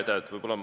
Aitäh!